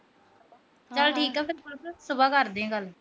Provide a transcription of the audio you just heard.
ਚਲ ਠੀਕ ਆ ਫਿਰ ਸੁਬਹ ਕਰਦੀ ਆ ਗੱਲ।